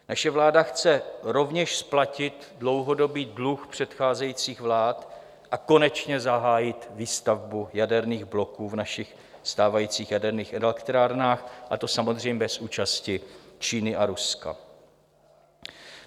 Naše vláda chce rovněž splatit dlouhodobý dluh předcházejících vlád a konečně zahájit výstavbu jaderných bloků v našich stávajících jaderných elektrárnách, a to samozřejmě bez účasti Číny a Ruska.